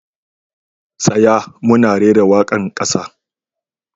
Tsaya! muna rera waka'n kasa.